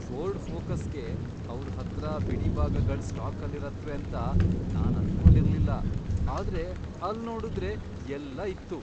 Ford ಫೋಕಸ್ಗೆ ಅವ್ರ್ ಹತ್ರ ಬಿಡಿಭಾಗಗಳ್ ಸ್ಟಾಕಲ್ಲಿರತ್ವೆ ಅಂತ ನಾನ್ ಅನ್ಕೊಂಡಿರ್ಲಿಲ್ಲ, ಆದ್ರೆ ಅಲ್ನೋಡುದ್ರೆ ಎಲ್ಲ ಇತ್ತು!